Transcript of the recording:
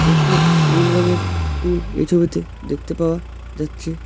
একটি নীল রঙের টুল এই ছবিতে দেখতে পাওয়া যাচ্ছে।